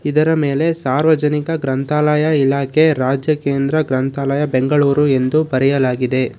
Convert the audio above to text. ಇದರ ಮೇಲೆ ಸಾರ್ವಜನಿಕ ಗ್ರಂಥಾಲಯ ಇಲಾಖೆ ರಾಜ್ಯ ಕೇಂದ್ರ ಗ್ರಂಥಾಲಯ ಬೆಂಗಳೂರು ಎಂದು ಬರೆಯಲಾಗಿದೆ.